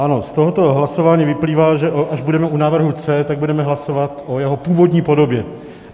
Ano, z tohoto hlasování vyplývá, že až budeme u návrhu C, tak budeme hlasovat o jeho původní podobě.